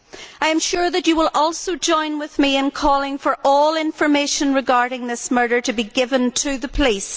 I am sure that you will also join with me in calling for all information regarding this murder to be given to the police.